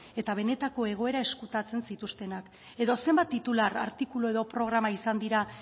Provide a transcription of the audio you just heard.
eta benetako egoera izkutatzen zituztenak edo zenbat titular artikula edo programa izan dira